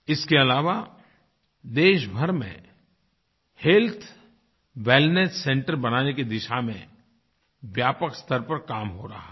इसके अलावा देशभर में हेल्थ वेलनेस Centresबनाने की दिशा में व्यापक स्तर पर काम हो रहा है